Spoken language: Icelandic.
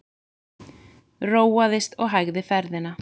Róaðist og hægði ferðina.